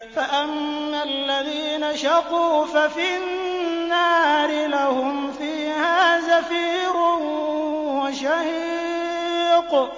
فَأَمَّا الَّذِينَ شَقُوا فَفِي النَّارِ لَهُمْ فِيهَا زَفِيرٌ وَشَهِيقٌ